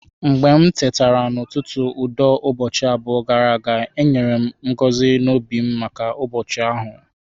Mgbe m tetara n'ụtụtụ udo ụbọchị abụọ gara aga, e nyere m ngọzi n'obi maka ụbọchị ahụ.